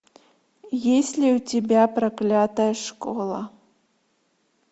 есть ли у тебя проклятая школа